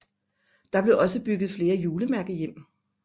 Der blev også bygget flere julemærkehjem